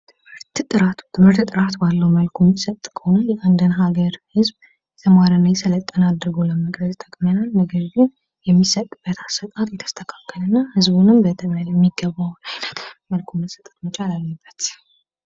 ጥራት ትምህርት ጥራት ባለው መልኩ የሚሰጥ ከሆነ የእንድን ሀገር ህዝብ የተማረና የሰለጠነ አድርጎ ለመቅረጽ ይጠቅመናል ነገር ግን የሚሰጥበት ስርአት የተስተካከለና ህዝቡን ያማከለ አድርጎ መሰጠት መቻል አለበት።